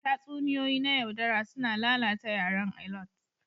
Tatsuniyoyi na yaudara suna lalata yaran Alot